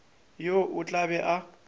yo o tla be a